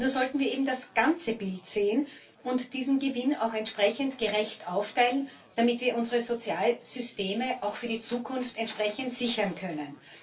Nur sollten wir eben das ganze Bild sehen und diesen Gewinn auch entsprechend gerecht aufteilen, damit wir unsere Sozialsysteme auch für die Zukunft sichern können.